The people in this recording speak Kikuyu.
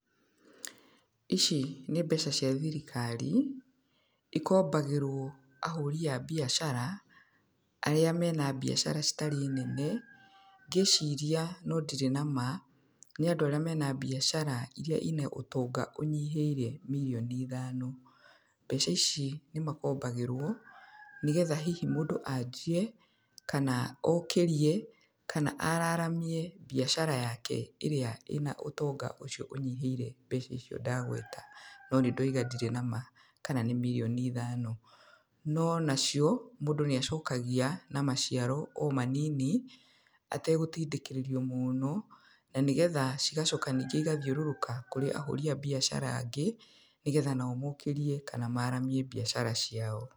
Ici nĩ mbeca cia thirikari, ikombagĩrwo ahũri a biacara, arĩa mena biacara citarĩ nene, ngĩciria no ndirĩ nama, nĩ andũ arĩa mena biacara irĩa ina ũtonga ũnyihĩire mirioni ithano. Mbeca ici nĩ makombagĩrwo, nĩgetha hihi mũndũ anjie, kana okĩrie, kana araramie biacara yake ĩrĩa ĩna ũtongo ũcio ũnyihĩire mbeca icio ndagweta no nĩ ndoiga ndirĩ nama kana nĩ mirioni ithano. No onacio, mũndũ nĩ acokagia, na maciaro o manini, ategũtindĩkĩrĩrio mũno, na nĩgetha cigacoka ningĩ igathiũrũrũka kũrĩ ahũri a biacara angĩ, nĩgetha nao mokĩrie kana maramie biacara ciao.